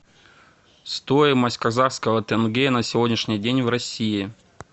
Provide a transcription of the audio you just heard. стоимость казахского тенге на сегодняшний день в россии